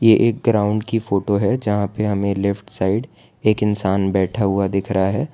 ये एक ग्राउंड की फोटो है जहां पे हमें लेफ्ट साइड एक इंसान बैठा हुआ दिख रा है।